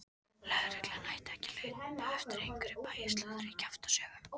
Lögreglan ætti ekki að hlaupa eftir einhverju bæjarslúðri og kjaftasögum!